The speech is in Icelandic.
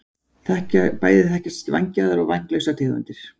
bæði þekkjast vængjaðar og vænglausar tegundir